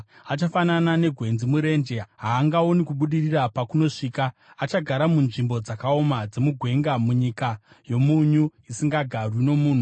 Achafanana negwenzi murenje; haangaoni kubudirira pakunosvika. Achagara munzvimbo dzakaoma dzemugwenga, munyika yomunyu isingagarwi nomunhu.